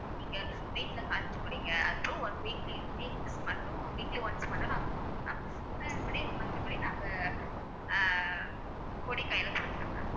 நீங்க வீட்டுல காய்ச்சு குடிங்க அப்புறம் one weekly wee~ week மட்டும் weekly once மட்டும் நாங்க குடுத்தான்னா அ மறுபடி மத்தபடி நாங்க ஆ பொடி கைல கொடுத்துடுவேன் ma'am